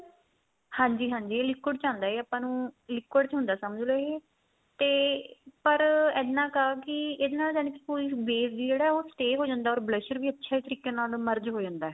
ਹਾਂਜੀ ਹਾਂਜੀ ਇਹ liquid ਚ ਆਉਂਦਾ ਇਹ ਆਪਾਂ ਨੂੰ liquid ਚ ਹੁੰਦਾ ਸਮਝ ਲੋ ਇਹ ਤੇ ਪਰ ਇੰਨਾ ਕ ਆ ਕੀ ਇਹਦੇ ਨਾਲ ਯਾਨੀ ਕੀ ਕੋਈ weight ਵੀ stay ਹੋ ਜਾਂਦਾ or blusher ਵੀ ਅੱਛੇ ਤਰੀਕੇ ਨਾਲ merge ਹੋ ਜਾਂਦਾ